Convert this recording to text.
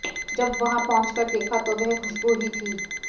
जब वहां पहुंच कर देखा तो वह खुशबू ही थी